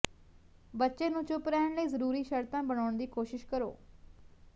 ਬੱਚੇ ਨੂੰ ਚੁੱਪ ਰਹਿਣ ਲਈ ਜ਼ਰੂਰੀ ਸ਼ਰਤਾਂ ਬਣਾਉਣ ਦੀ ਕੋਸ਼ਿਸ਼ ਕਰੋ